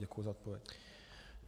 Děkuji za odpověď.